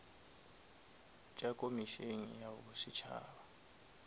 tša komišene ya bo setšhaba